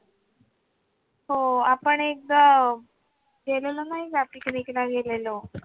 हो, आपण एकदा गेलेलो नाही का? picnic ला गेलेलो